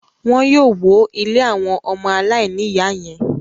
Wọn yóò wó ilé àwọn ọmọ aláìníìyá yẹn.